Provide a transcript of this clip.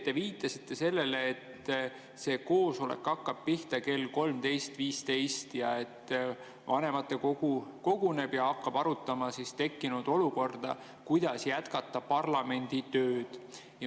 Te viitasite sellele, et see koosolek hakkab pihta kell 13.15, siis vanematekogu koguneb ja hakkab arutama tekkinud olukorda, kuidas jätkata parlamendi tööd.